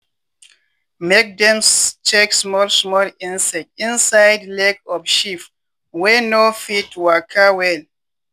make dem check small small insect inside leg of sheep wey no fit waka well.